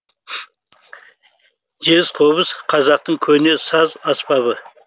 жез қобыз қазақтың көне саз аспабы